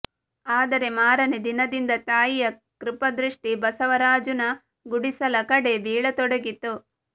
ಆದರೆ ಮಾರನೇ ದಿನದಿಂದ ತಾಯಿಯ ಕೃಪಾದೃಷ್ಟಿ ಬಸವರಾಜೂನ ಗುಡಿಸಲ ಕಡೆ ಬೀಳತೊಡಗಿತು